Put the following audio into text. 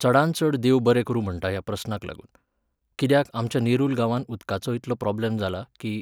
चडांत चड देव बरें करूं म्हणटा ह्या प्रस्नाक लागून. कित्याक, आमच्या नेरुल गांवांत उदकाचो इतको प्रोब्लम जाला, कीं